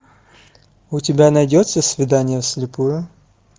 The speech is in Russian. у тебя найдется свидание в слепую